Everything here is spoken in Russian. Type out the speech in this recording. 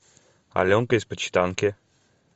аленка из почитанки